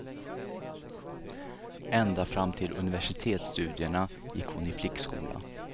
Ända fram till universitetsstudierna gick hon i flickskola.